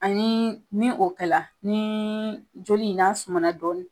Ani ni o kɛ la ni joli in n'a sumana dɔɔni